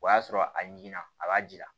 O y'a sɔrɔ a ɲinna a b'a jira